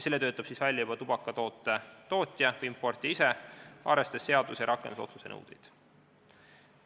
Selle töötab välja tubakatoote tootja või importija ise, arvestades seaduse ja rakendusotsuse nõudeid.